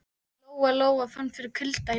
Lóa Lóa fann fyrir kulda í bakinu.